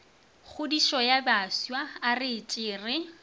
kgodišo ya bafsa aretse re